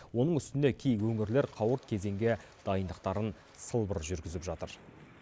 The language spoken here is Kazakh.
оның үстіне кей өңірлер қауырт кезеңге дайындықтарын сылбыр жүргізіп жатыр